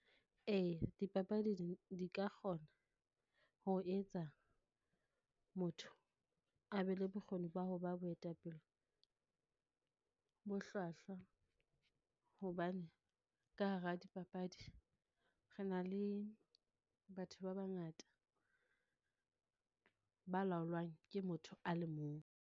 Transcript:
Eya, dipapadi di, di ka kgona ho etsa motho a be le bokgoni ba ho ba boetapele bo hlwahlwa, hobane ka hara dipapadi re na le batho ba bangata ba laolwang ke motho a le mong.